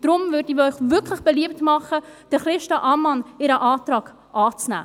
Deshalb würde ich Ihnen wirklich beliebt machen, den Antrag von Christa Ammann anzunehmen.